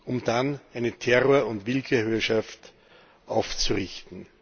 um dann eine Terror und Willkürherrschaft aufzurichten.